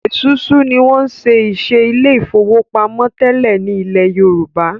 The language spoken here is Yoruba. Esusu ní wón ṣe iṣé Ilé ìfowópamọ́ tẹlẹ ní ilè yorùbá.